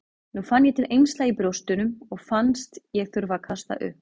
Nú fann ég til eymsla í brjóstunum og fannst ég þurfa að kasta upp.